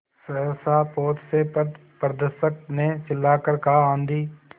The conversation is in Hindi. सहसा पोत से पथप्रदर्शक ने चिल्लाकर कहा आँधी